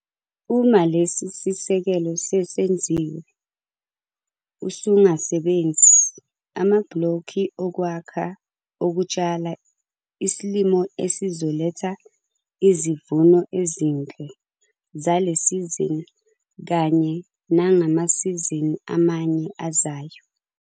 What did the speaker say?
Uma lesi sisekelo sesenziwe, usungasebenzi amabhlokhi okwakha okutshala isilimo esizoletha izivuno ezinhle zale sizini kanye nangamasizini amanye ezayo.